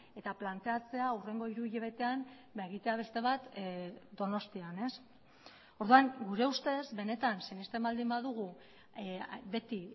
eta planteatzea hurrengo hiru hilabetean egitea beste bat donostian orduan gure ustez benetan sinesten baldin badugu beti